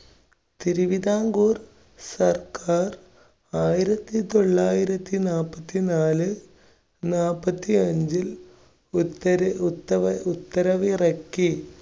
തിരുവിതാംകൂർ സർക്കാർ ആയിരത്തി തൊള്ളായിരത്തി നാല്പത്തിനാല് നാല്പത്തിഅഞ്ചിൽ ഉത്തര~ഉത്ത~ഉത്തരവ് ഇറക്കി.